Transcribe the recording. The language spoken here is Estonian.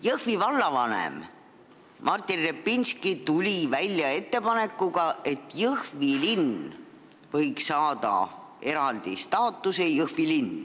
Jõhvi vallavanem Martin Repinski tuli välja ettepanekuga, et Jõhvi linn võiks saada eraldi staatuse.